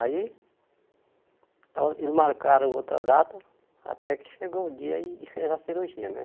Aí, ela eles marcaram outra data até que chegou o dia e fez a cirurgia, né?